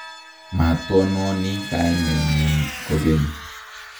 matononi kanenyin kokeny